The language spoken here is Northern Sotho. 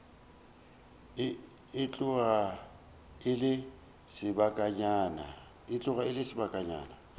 e tloga e le sebakanyana